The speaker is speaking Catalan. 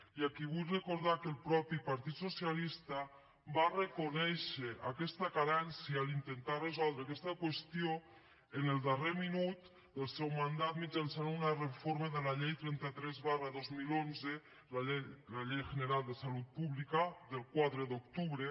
i aquí vull recordar que el mateix partit socialista va reconèixer aquesta carència a l’intentar resoldre aquesta qüestió en el darrer minut del seu mandat mitjançant una reforma de la llei trenta tres dos mil onze la ley general de salud pública del quatre d’octubre